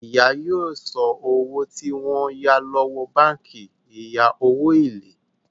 ìyá yóò so owó tí wón yá lówó bánkì ìya owo ilé.